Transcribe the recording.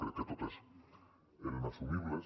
crec que totes eren assumibles